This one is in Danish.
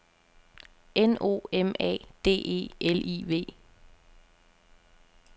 N O M A D E L I V